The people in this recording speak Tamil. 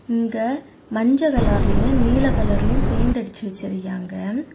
இங்க மஞ்ச கலர்லயும் நீளம் கலர்லயும் பெயிண்ட் அடிச்சி வெச்சிருக்காங்க.